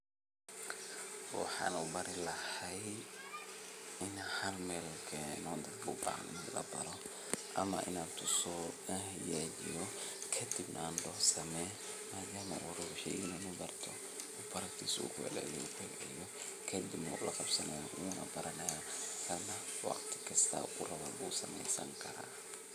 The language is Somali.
Wxan u bari lahay in an halmelkeno dadka ubahan in labaro ama inanan tuso anhagajiyo kadipnah andaho same madama ubixiyo inlabarto baragtis ugu celceliyo kadipna ulaqabsanaya unabaranayo waqti kasto u rabo nah u sameysankara .